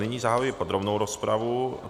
Nyní zahajuji podrobnou rozpravu.